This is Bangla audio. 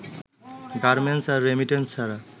গার্মেন্টস আর রেমিটেন্স ছাড়া